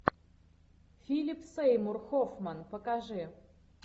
филип сеймур хоффман покажи